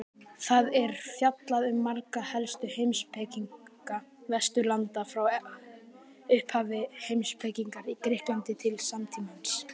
Þar er fjallað um marga helstu heimspekinga Vesturlanda frá upphafi heimspekinnar í Grikklandi til samtímans.